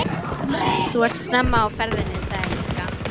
Þú ert snemma á ferðinni, sagði Inga.